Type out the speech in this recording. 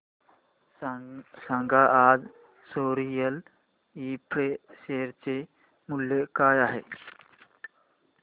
सांगा आज सोरिल इंफ्रा शेअर चे मूल्य काय आहे